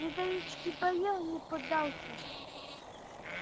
металлический барьер не поддался